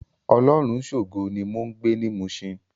Olorunshogo ni mó n gbé ni Mushin